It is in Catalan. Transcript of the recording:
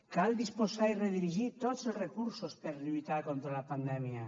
cal disposar i redirigir tots els recursos per a lluitar contra la pandèmia